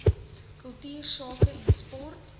kultuursake en sport